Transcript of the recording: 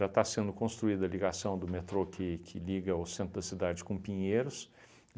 está sendo construída a ligação do metrô que que liga o centro da cidade com Pinheiros.